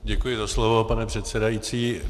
Děkuji za slovo, pane předsedající.